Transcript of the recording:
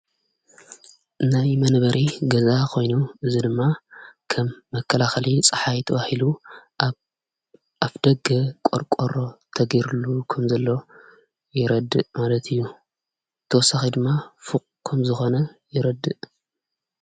ናይ መነበሪ ገዛ ኾይኑ ዝ ድማ ከም መከላኸሊ ፀሓይትዋሂሉ ኣፍ ደገ ቖርቈሮ ተጊሩሉ ከም ዘለ ይረድእ ማለት እዩ ተወሳኺ ድማ ፉቕ ከም ዝኾነ ይረድእ::